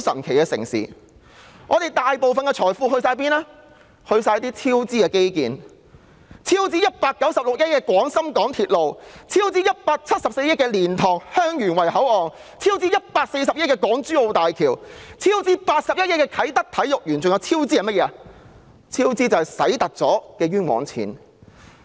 全部花了在種種超支的基建項目之上，例如超支196億元的廣深港高速鐵路香港段；超支174億元的蓮塘/香園圍口岸；超支140億元的港珠澳大橋；超支81億元的啟德體育園；還有那些多花了的冤枉錢。